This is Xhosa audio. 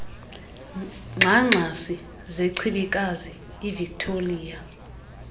ngxangxasi zechibikazi ivictoliya